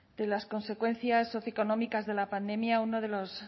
de las consecuencias socioeconómicas de la pandemia uno de los